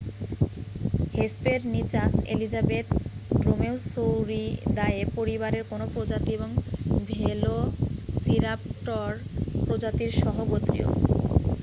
Hesperonychus elizabethae Dromaeosauridae পরিবারের কোন প্রজাতি এবং ভেলোসিরাপটর প্রজাতির সহগোত্রীয়